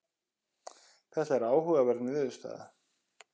þetta er áhugaverð niðurstaða